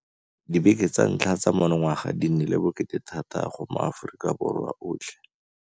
Dibeke tsa ntlha tsa monongwaga di nnile bokete thata go maAforika Borwa otlhe.